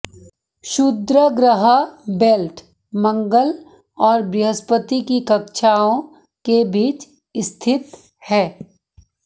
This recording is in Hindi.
क्षुद्रग्रह बेल्ट मंगल और बृहस्पति की कक्षाओं के बीच स्थित है